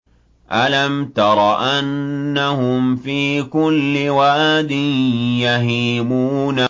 أَلَمْ تَرَ أَنَّهُمْ فِي كُلِّ وَادٍ يَهِيمُونَ